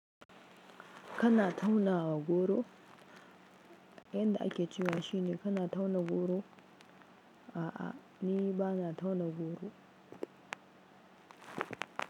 Kana tauna goro? Yanda ake cewa shine kana tauna goro? A'a ni bana tauna goro.